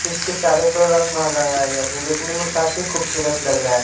इसके चारों पर रंग मोहर लगाया गया हैं जो दिखने में काफी खूबसूरत लग रहा--